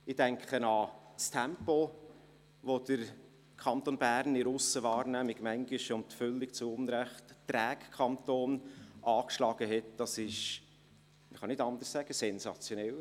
Das Tempo, welches der Kanton Bern angeschlagen hat, auch wenn er in der Aussenwahrnehmung manchmal völlig zu Unrecht als träge wahrgenommen wird, ist sensationell.